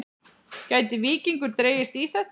Gæti Víkingur dregist í þetta?